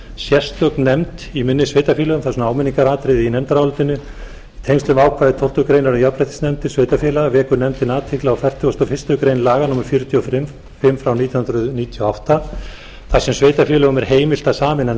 sérstök nefnd í minni sveitarfélögum þar sem áminningaratriði í nefndarálitinu í tengslum við ákvæði tólftu greinar um jafnréttisnefndir sveitarfélaga vekur nefndin athygli á fertugasta og fyrstu grein laga númer fjörutíu og fimm nítján hundruð níutíu og átta þar sem sveitarfélögum er heimilt að sameina